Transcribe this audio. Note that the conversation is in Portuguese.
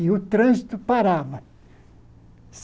E o trânsito parava.